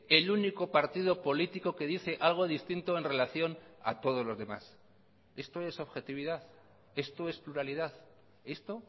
el único partido político que dice algo distinto en relación a todos los demás esto es objetividad esto es pluralidad esto